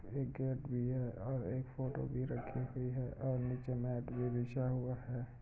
ये एक घर भी है और एक फ़ोटो भी रखी हुई है और नीचे मेट भी बिछा हुआ है।